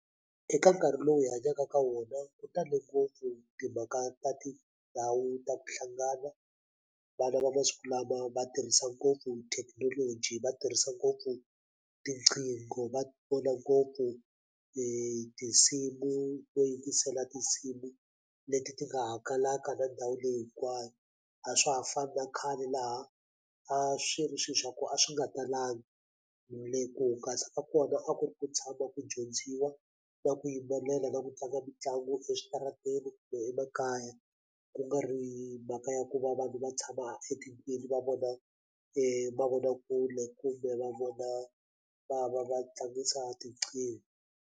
Eka nkarhi lowu hi hanyaka ka wona ku tale ngopfu timhaka ta tindhawu ta ku hlangana vana va masiku lama va tirhisa ngopfu thekinoloji va tirhisa ngopfu tiqingho va vona ngopfu tinsimu to yingisela tinsimu leti ti nga hangalaka na ndhawu leyi hinkwayo a swa ha fani na khale laha a swi ri swi swa ku a swi nga talanga ku hungasa kona a ku ri ku tshama ku dyondziwa na ku yimbelela na ku tlanga mitlangu eswitarateni kumbe emakaya ku nga ri mhaka ya ku va vanhu va tshama etikweni va vona mavonakule kumbe va vona va va va tlangisa tinqingho.